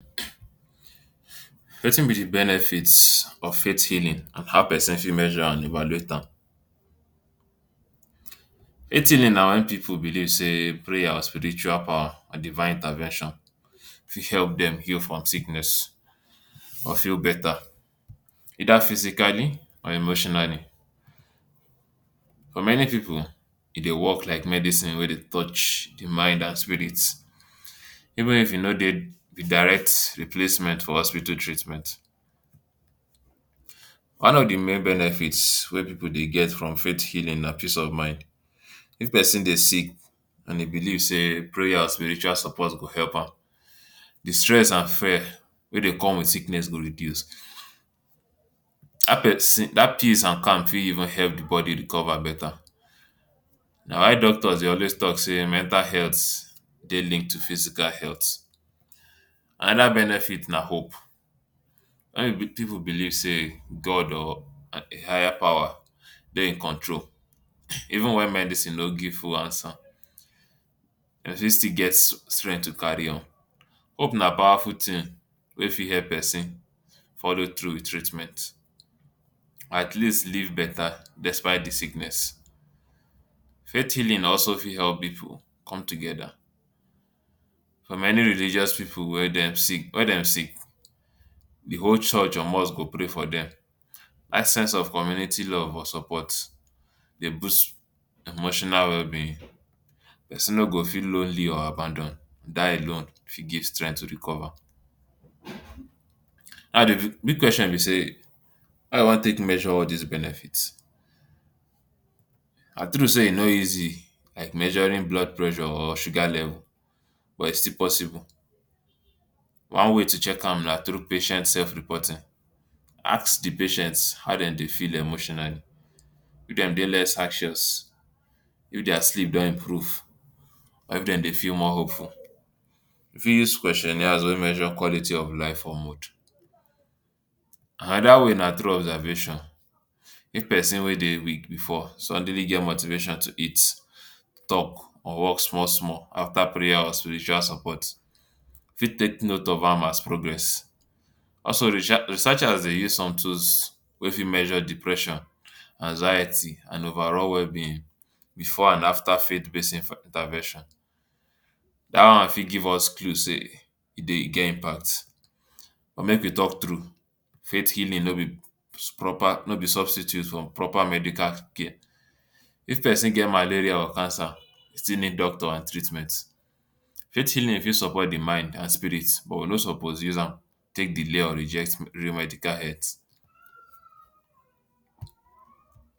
Watin be di benefits of faith healing and how pesin fit measure and evaluate am healing na wen pipu believe say prayer or spiritual power and divine intervention fit help dem heal from sickness or feel beta, either physically or emotionally. For many pipu, dey work like medicine wey dey touch di mind and spirit. Even if e no dey direct replacement for hospital treatment, one of di main benefits wey pipu de get from faith healing na peace of mind, if pesin dey sick and e believe say prayers, spiritual support go help am di stress and fare wey dey come with sickness go reduce. Dat pesi dat peace and calm fit help di body recover beta na why doctors dey always talk say mental health dey linked to physical health. Anoda benefit na hope, pipu believe say God or a higher power dey in control even wen medicine no give full answer, dem fit still get strength to carry on. Hope na powerful tin wey fit help pesin follow through wit treatment. Atleast live beta despite di sickness, faith healing also fit help pipu come together. For many religious pipu wey dem sick wey dem sick, di whole church or mosque go pray for dem, dat sense of community love or support dey boost emotional wellbeing pesin no go feel lonely or abandoned, dat alone fit give strength to recover. Big question be say how you wan take measure all dis benefits na true say e no easy like measuring blood pressure or sugar level but e still dey possible, one way to check am na through patient self reporting ask di patient how dem dey feel emotionally, if dem dey less hacious, if dia sleep don improve, or if dem dey feel more hopeful. You fit use questionnaires wey measure quality of life for mood. Anoda way na through observation, if pesin wey dey weak before suddenly get motivation to eat, talk or walk small small after prayer or spiritual support you fit take note of am as progress. Also re researchers dey use some tools wey fit measure depression, anxiety, and overall wellbeing before and after pesin for intervention dat one fit give us clue say e dey get impact but make we talk true faith healing no be proper substitute for proper medical care. If pesin get malaria or cancer e still need doctor and treatment, faith healing fit support di mind and spirit but we no suppose use am take delay or reject real medical health.